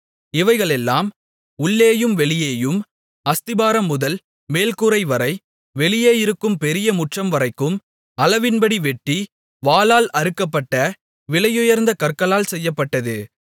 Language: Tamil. இவைகளெல்லாம் உள்ளேயும் வெளியேயும் அஸ்திபாரம்முதல் மேல் கூரைவரை வெளியே இருக்கும் பெரிய முற்றம்வரைக்கும் அளவின்படி வெட்டி வாளால் அறுக்கப்பட்ட விலையுயர்ந்த கற்களால் செய்யப்பட்டது